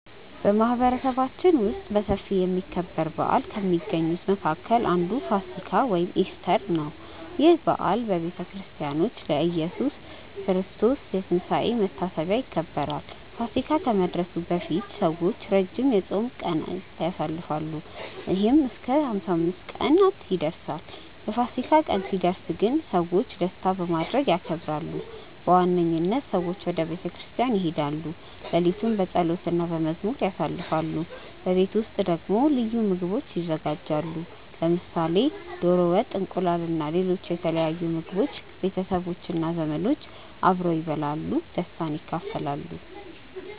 በማህበረሰባችን ውስጥ በሰፊ የሚከበር በዓል ከሚገኙት መካከል አንዱ ፋሲካ (ኢስተር) ነው። ይህ በዓል በክርስቲያኖች ለኢየሱስ ክርስቶስ ትንሳኤ መታሰቢያ ይከበራል። ፋሲካ ከመድረሱ በፊት ሰዎች ረጅም የጾም ጊዜ ያሳልፋሉ፣ ይህም እስከ 55 ቀናት ይደርሳል። የፋሲካ ቀን ሲደርስ ግን ሰዎች ደስታ በማድረግ ያከብራሉ። በዋነኝነት ሰዎች ወደ ቤተ ክርስቲያን ይሄዳሉ፣ ሌሊቱን በጸሎት እና በመዝሙር ያሳልፋሉ። በቤት ውስጥ ደግሞ ልዩ ምግቦች ይዘጋጃሉ፣ ለምሳሌ ዶሮ ወጥ፣ እንቁላል እና ሌሎች የተለያዩ ምግቦች። ቤተሰቦች እና ዘመዶች አብረው ይበላሉ እና ደስታን ይካፈላሉ።